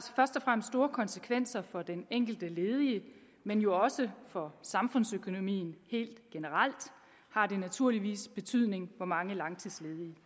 først og fremmest store konsekvenser for den enkelte ledige men jo også for samfundsøkonomien helt generelt har det naturligvis betydning hvor mange langtidsledige